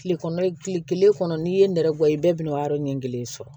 Kile kɔnɔ kile kelen kɔnɔ n'i ye nɛrɛ gɛn i bɛ bɛn'a yɔrɔ ɲɛ kelen sɔrɔ